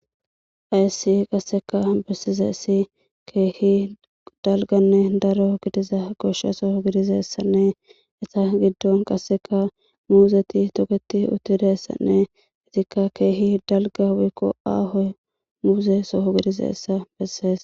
Hayssi qasseka bessize issi keehi dalganne daro gidiza goshsha soho gidizessanne essa giddon qasseka muuzeti toketi uttidessanne izikka keehi dalga wikko aahoy muuze soho gidizessa bessees.